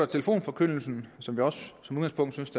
telefonforkyndelsen som vi også som udgangspunkt synes